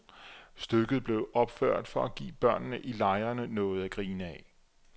Stykket blev opført for at give børnene i lejrene noget at grine af.